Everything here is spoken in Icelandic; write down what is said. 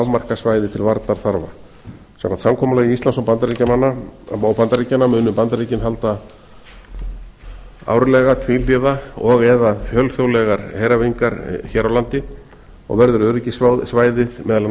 afmarkað svæði til varnarþarfa samkvæmt samkomulagi íslands og bandaríkjanna munu bandaríkin halda árlega tvíhliða og eða fjölþjóðlegar heræfingar hér á landi og verður öryggissvæðið meðal annars